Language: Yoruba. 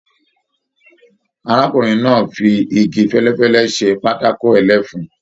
Arákùnrin náà fí ìgi fẹlẹfẹlẹ ṣe patako ẹlẹfun.